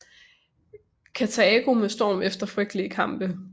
Karthago med storm efter frygtelige kampe